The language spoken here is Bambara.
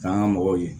K'an ka mɔgɔw ye